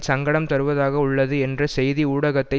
சங்கடம் தருவதாக உள்ளது என்று செய்தி ஊடகத்தை